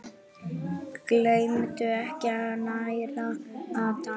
Gleymdu ekki að næra andann!